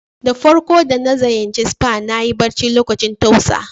Da farko da na ziyace spa, na yi bacci lokacin tausa.